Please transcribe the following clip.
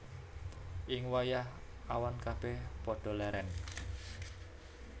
Ing wayah awan kabèh padha lèrèn